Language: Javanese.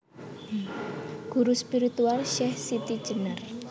Guru spiritual Syeh SitiJenar